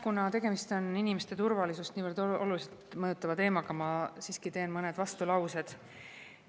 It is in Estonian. Kuna tegemist on inimeste turvalisust niivõrd oluliselt mõjutava teemaga, ma siiski teen mõned vastulaused.